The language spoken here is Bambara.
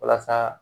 Walasa